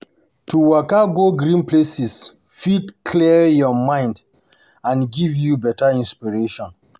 To waka go green places fit clear your mind and mind and give you better inspiration.